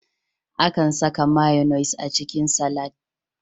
Akan saka mayonaise a cikin salak.